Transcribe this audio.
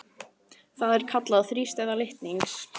Það er kallað þrístæða litnings.